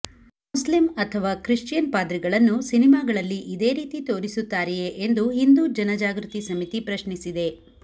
Muslim ಅಥವಾ Christian ಪಾದ್ರಿಗಳನ್ನು ಸಿನಿಮಾಗಳಲ್ಲಿ ಇದೇ ರೀತಿ ತೋರಿಸುತ್ತಾರೆಯೇ ಎಂದು ಹಿಂದೂ ಜನ ಜಾಗೃತಿ ಸಮಿತಿ ಪ್ರಶ್ನಿಸಿದೆ